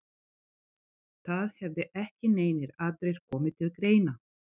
Það hefði ekki neinir aðrir komið til greina?